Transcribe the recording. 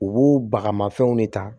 U b'o baga mafɛnw de ta